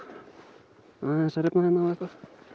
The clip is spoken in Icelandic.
aðeins að rifna hérna og eitthvað